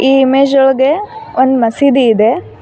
ಈ ಇಮೇಜ್ ಒಳಗೆ ಒಂದ್ ಮಸೀದಿ ಇದೆ.